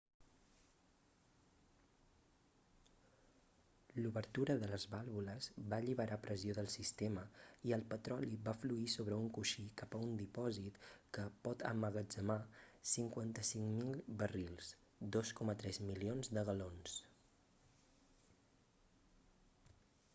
l'obertura de les vàlvules va alliberar pressió del sistema i el petroli va fluir sobre un coixí cap a un dipòsit que pot emmagatzemar 55.000 barrils 2,3 milions de galons